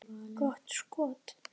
Gott skot.